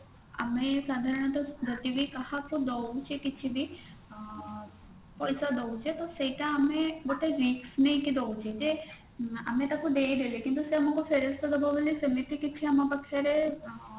ଆମେ ସାଧାରଣତଃ ଯଦି ବି କାହାକୁ ଦଉଛେ କିଛି ବି ଆଁ ପଇସା ଦଉଛେ ତ ସେଇଟା ଆମେ ଗୋଟେ risk ନେଇକି ଦଉଛେ ଯେ ଆମେ ତାକୁ ଦେଇଦେଲେ କିନ୍ତୁ ସେ ଆମକୁ ଫେରସ୍ତ ଦବ ବୋଲି ସେମିତି ଆମ ପାଖେରେ ଆଁ